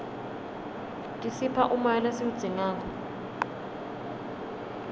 tisipha umoya lesiwudzingako